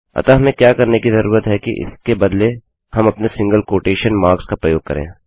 अतः हमें क्या करने की ज़रुरत है कि इसके बदले हम अपने सिंगल कोटेशन मार्क्सका प्रयोग करें